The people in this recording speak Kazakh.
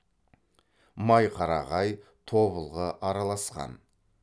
майқарағай тобылғы араласқан